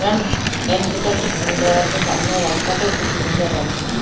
Front entry -টাও খুব আছে সামনের রাস্তাটাও খুব সুন্দর আছে।